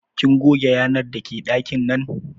Kin goge yanar dake ɗakin nan?